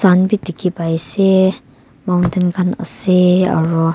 tent bi dikhi pa ase mountain khan ase aru.